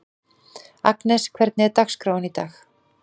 Agnes, hvernig er dagskráin í dag?